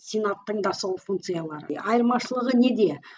сенаттың да сол функциялары айырмашылығы неде